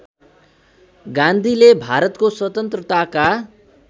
गान्धीले भारतको स्वतन्त्रताका